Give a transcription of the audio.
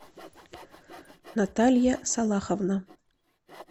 наталья салаховна